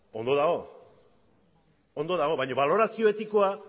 ondo dago baina balorazio etikoa